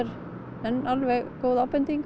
en alveg góð ábending